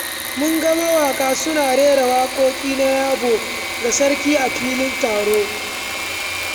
Mun ga mawaƙa suna rera waƙoƙi na yabo ga sarki a filin taro.